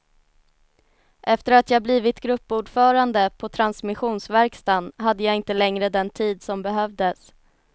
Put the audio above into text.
Efter att jag blivit gruppordförande på transmissionsverkstaden hade jag inte längre den tid som behövdes.